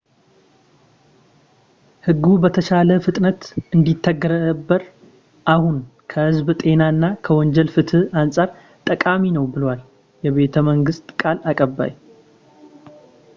"ሕጉ በተቻለ ፍጥነት እንዲተገበር አሁን ከህዝብ ጤና እና ከወንጀል ፍትህ አንፃር ጠቃሚ ነው ብለዋል የመንግሥት ቃል አቀባይ፡፡